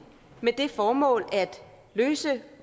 med det formål at løse